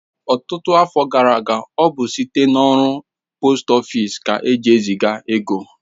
Ọtụtụ afọ gara aga, ọ bụ site n'ụlọ ọrụ poost ofịsi ka eji eziga ego